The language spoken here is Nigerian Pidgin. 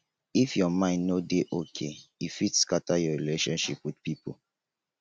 if your mind no dey okay e fit scatter your relationship wit pipo.